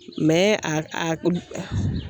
a a